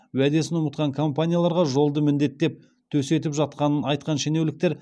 уәдесін ұмытқан компанияларға жолды міндеттеп төсетіп жатқанын айтқан шенеуніктер